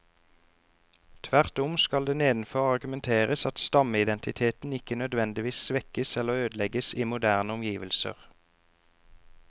Tvert om skal det nedenfor argumenteres at stammeidentiteten ikke nødvendigvis svekkes eller ødelegges i moderne omgivelser.